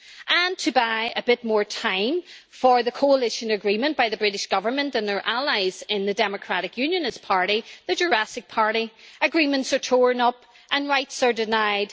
And to buy a bit more time for the coalition agreement by the British Government and their allies in the Democratic Unionist Party the Jurassic Party agreements are torn up, and rights are denied.